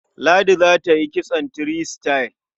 Ladi za ta yi kitson three star.